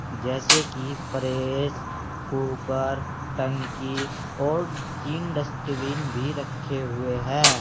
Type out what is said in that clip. जैसे कि pressure cooker टंकी और तीन डस्टबिन भी रखे हुए है।